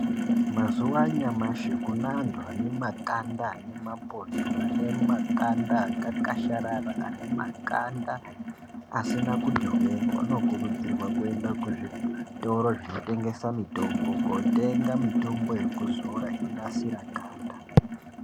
Mazuvaanyamashi, kuneantu vanemakanda anemapundu, vane makanda akakasharara ,anemakanda asina kuti hwee, Unokurudzirwa kuenda kuzvitoro zvinotengesa mitombo, kotenga mitombo yekuzora inonasira ganda.